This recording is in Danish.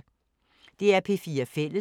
DR P4 Fælles